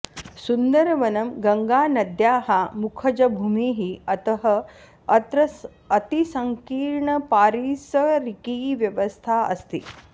सुन्दरवनं गङ्गानद्याः मुखजभूमिः अतः अत्र अतिसङ्कीर्णपारिसरिकी व्यवस्था अस्ति